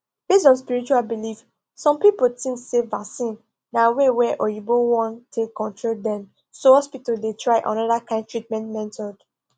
based on spiritual belief some people think say vaccine na way wa oyinbo wan take control dem so hospitals dey try another kind treatment method